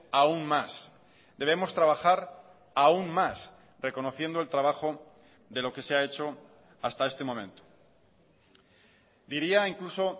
aún más debemos trabajar aún más reconociendo el trabajo de lo que se ha hecho hasta este momento diría incluso